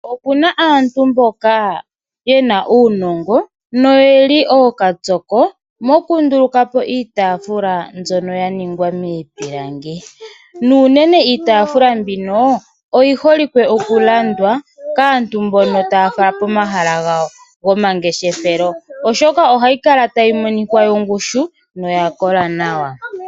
Okuna aantu mboka yena uunongo noyeli ookapyoko moku ndulukapo iitafula mbyono ya ningwa miipilangi nuunene iitafula mbino oyi holike oku landwa kaantu mbono taya fala pomahala gawo gomangeshefelo , oshoka ohayi kala tayi monika yongushu yo oya kola nawa.